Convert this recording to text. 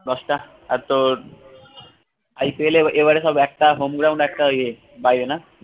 দশটা আর তোর IPL এ এবারে সব একটা home ground একটা ইয়ে বাইরে না?